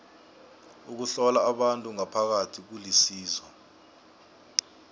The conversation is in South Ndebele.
ukuhlola abantu ngaphakathi kulisizo